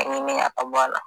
ka bɔ a la